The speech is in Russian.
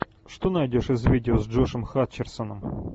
что найдешь из видео с джошем хатчерсоном